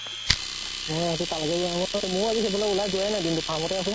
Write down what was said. ময়ো আজি সেইফালে ওলাই যোৱাই নাই, দিন টো farm তে আছো।